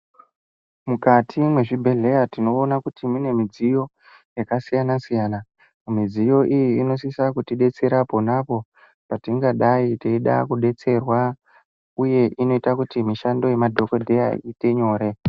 Mukati mezvibhedhlera tinoona kuti Mune midziyo yakasiyana siyana midziyo iyo inosisa kuti detsera pona apo patingadai teida kudetserwa uye inoita kuti nemadhokodheya iite nyore.